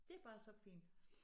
Det bare så fint